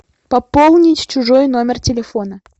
пополнить чужой номер телефона